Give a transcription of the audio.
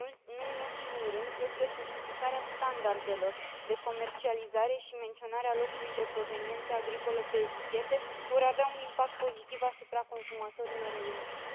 Nu în ultimul rând, cred că simplificarea standardelor de comercializare și menționarea locului de proveniență agricolă pe etichete vor avea un impact pozitiv asupra consumatorilor europeni.